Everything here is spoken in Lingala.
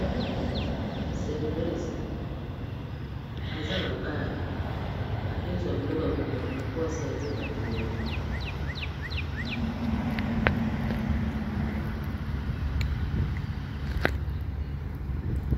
serveuse aza na bar akozwa biloko yakomela po a servir ba clients